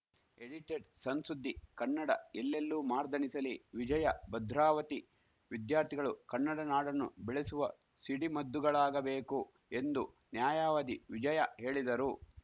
ಎಡಿಟೆಡ್‌ಸಣ್‌ಸುದ್ದಿ ಕನ್ನಡ ಎಲ್ಲೆಲ್ಲೂ ಮಾರ್ದನಿಸಲಿ ವಿಜಯ ಭದ್ರಾವತಿ ವಿದ್ಯಾರ್ಥಿಗಳು ಕನ್ನಡ ನಾಡನ್ನು ಬೆಳಸುವ ಸಿಡಿಮದ್ದುಗಳಾಗಬೇಕು ಎಂದು ನ್ಯಾಯವಾದಿ ವಿಜಯ ಹೇಳಿದರು